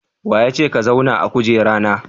Wa ya ce ka zauna a kujera na?